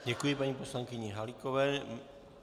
Děkuji paní poslankyni Halíkové.